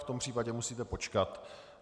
V tom případě musíte počkat.